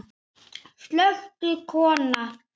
Slökktu kona.